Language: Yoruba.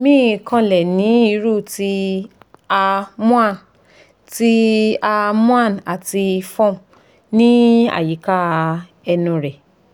mi kanlẹ ní irú ti a moan ti a moan ati form ni ayika ẹnu rẹ